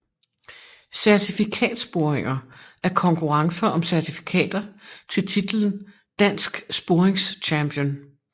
Certifikatsporinger er konkurrencer om certifikater til titlen Dansk Sporingschampion